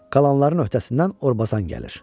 Qalanların öhdəsindən Orbazan gəlir.